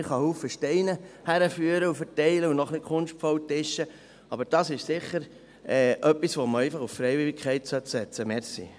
Man kann viele Steine hinführen, verteilen und noch etwas kunstvoll aufschichten, aber das ist sicher etwas, bei dem man auf Freiwilligkeit setzen sollte.